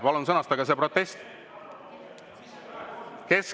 Palun sõnastage see protest.